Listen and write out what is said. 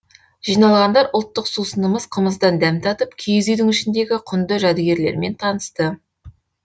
жиналғандар ұлттық сусынымыз қымыздан дәм татып киіз үйдің ішіндегі құнды жәдігерлермен танысты